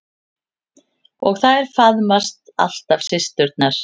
Og þær faðmast alltaf systurnar.